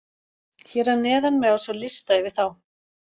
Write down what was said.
Hér að neðan má sjá lista yfir þá.